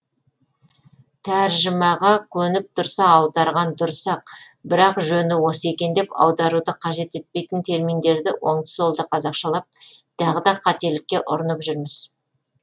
тәржімаға көніп тұрса аударған дұрыс ақ бірақ жөні осы екен деп аударуды қажет етпейтін терминдерді оңды солды қазақшалап тағы да қателікке ұрынып жүрміз